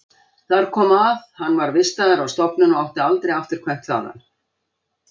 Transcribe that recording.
Þar kom að hann var vistaður á stofnun og átti aldrei afturkvæmt þaðan.